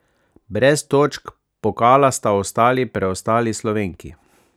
Brez točk pokala sta ostali preostali Slovenki.